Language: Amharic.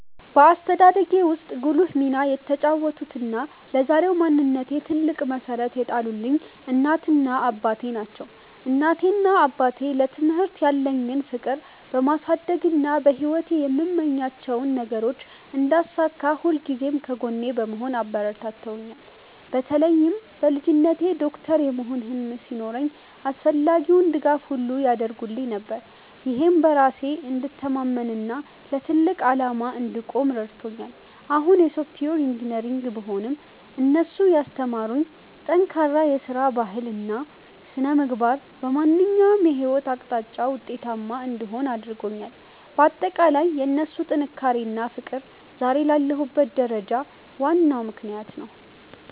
በአስተዳደጌ ውስጥ ጉልህ ሚና የተጫወቱትና ለዛሬው ማንነቴ ትልቅ መሠረት የጣሉልኝ እናቴና አባቴ ናቸው። እናቴና አባቴ ለትምህርት ያለኝን ፍቅር በማሳደግና በሕይወቴ የምመኛቸውን ነገሮች እንዳሳካ ሁልጊዜም ከጎኔ በመሆን አበረታትተውኛል። በተለይም በልጅነቴ ዶክተር የመሆን ህልም ሲኖረኝ አስፈላጊውን ድጋፍ ሁሉ ያደርጉልኝ ነበር፤ ይህም በራሴ እንድተማመንና ለትልቅ ዓላማ እንድቆም ረድቶኛል። አሁን የሶፍትዌር ኢንጂነር ብሆንም፣ እነሱ ያስተማሩኝ ጠንካራ የሥራ ባህልና ሥነ-ምግባር በማንኛውም የሕይወት አቅጣጫ ውጤታማ እንድሆን አድርጎኛል። ባጠቃላይ የእነሱ ጥንካሬና ፍቅር ዛሬ ላለሁበት ደረጃ ዋናው ምክንያት ነው።